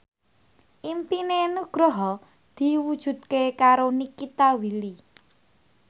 impine Nugroho diwujudke karo Nikita Willy